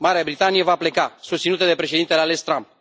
Marea Britanie va pleca, susținută de președintele ales, Trump.